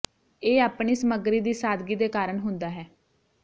ਇਹ ਆਪਣੀ ਸਮੱਗਰੀ ਦੀ ਸਾਦਗੀ ਦੇ ਕਾਰਨ ਹੁੰਦਾ ਹੈ